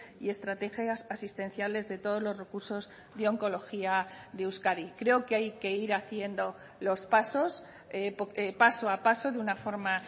y estrategias asistenciales de todos los recursos de oncología de euskadi creo que hay que ir haciendo los pasos paso a paso de una forma